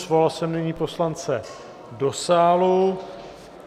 Svolal jsem nyní poslance do sálu.